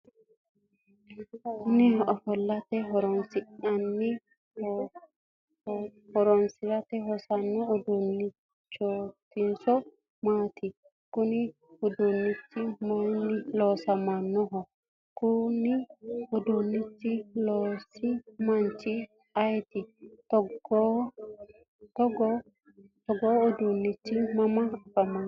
kuni ofo'late horora hosanno uduunnichootinso maati? konu uduunichi mayiinni loonsoonniho? konne uduunnicho loosino manchi ayeeti? togoo uduunnichi mama afamanno ?